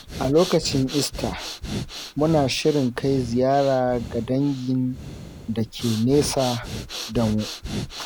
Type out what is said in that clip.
A lokacin Easter, muna shirin kai ziyara ga dangin da ke nesa da mu.